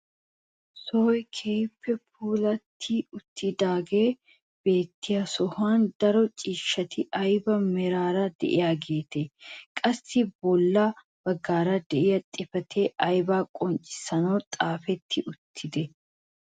Sohoy keehippe puulatti uttidaagee beettiyo sohuwaan daro ciishshati ayba meraara de'iyaageetee? qassi bolla baggaara de'iyaa xifatee aybaa qonccissanwu xaafetti uttidee?